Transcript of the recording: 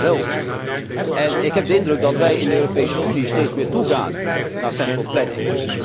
Hij is niet dezelfde. Ik heb de indruk dat wij in de Europese Unie steeds meer toegaan naar centrale planning.